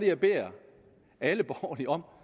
jeg beder alle borgerlige om